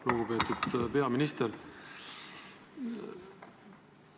Lugupeetud peaminister!